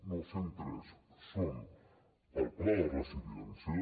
no cent i tres són del pla de resiliència